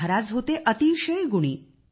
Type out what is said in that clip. महाराज होते आपले अतिशय गुणी